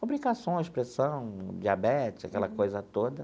Complicações, pressão, diabetes, aquela coisa toda.